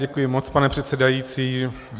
Děkuji moc, pane předsedající.